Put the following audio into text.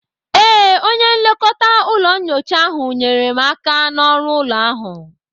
Ee, onye nlekọta ụlọ nyocha ahụ nyeere m aka na ọrụ ụlọ ahụ